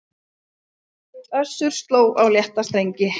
Össur sló á létta strengi